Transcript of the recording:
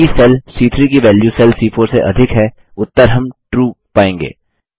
चूँकि सेल सी3 की वैल्यू सेल सी4 से अधिक है उत्तर हम ट्रू पायेंगे